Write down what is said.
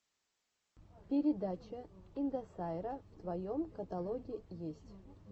передача индосайра в твоем каталоге есть